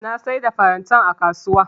Na siyar da farantan a kasuwa.